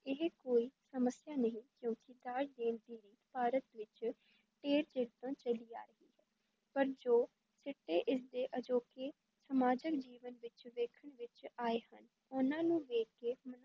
ਇਹ ਕੋਈ ਸਮੱਸਿਆ ਨਹੀਂ ਕਿਉਂਕਿ ਦਾਜ ਦੇਣ ਦੀ ਰੀਤ ਭਾਰਤ ਵਿਚ ਢੇਰ ਚਿਰ ਤੋਂ ਚੱਲੀ ਆ ਰਹੀ ਹੈ, ਪਰ ਜੋ ਸਿੱਟੇ ਇਸ ਦੇ ਅਜੋਕੇ ਸਮਾਜਕ ਜੀਵਨ ਵਿਚ ਵੇਖਣ ਵਿਚ ਆਏ ਹਨ, ਉਨ੍ਹਾਂ ਨੂੰ ਵੇਖ ਕੇ